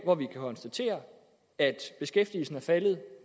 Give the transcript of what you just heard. hvor vi kan konstatere at beskæftigelsen er faldet